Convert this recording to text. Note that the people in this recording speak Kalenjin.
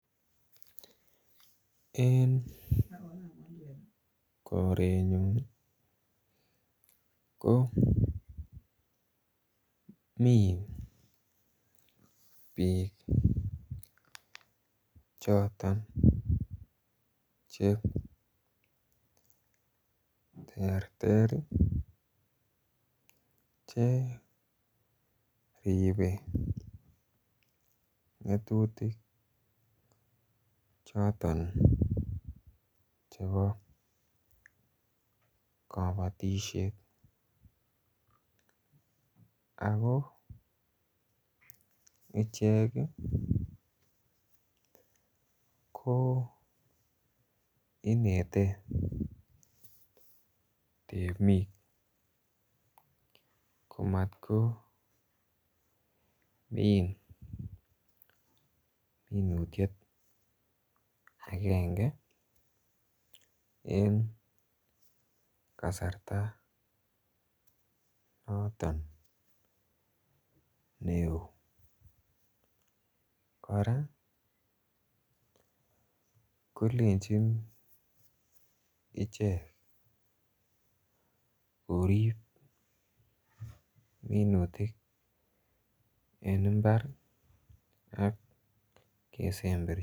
En korenyun ii ko mi biik choton cheterter cheripe tetutik choton chebo kobotisiet ako icheket ko inete temik komat min minutiet akenge en kasarta noton neu kora kolenjin ichek korip minutik en mbar ak kesemberi.